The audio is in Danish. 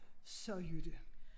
Så Jytte